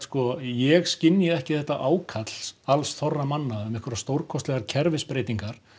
ég skynji ekki þetta ákall alls þorra manna um einhverjar stórkostlegar kerfisbreytingar